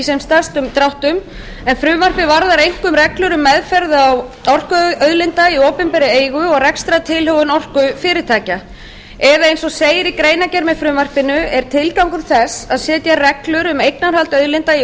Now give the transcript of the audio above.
sem stærstum dráttum en frumvarpið varðar einkum reglur um meðferð á orkuauðlindum í opinberri eigu og rekstrartilhögun orkufyrirtækja eða eins og segir í greinargerð með frumvarpinu er tilgangur þess að setja reglur um eignarhald auðlinda í